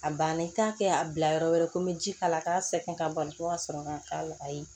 A banna i t'a kɛ a bila yɔrɔ wɛrɛ ko n bɛ ji k'ala k'a sɛgɛn ka bali ko ka sɔrɔ k'a k'a la ayi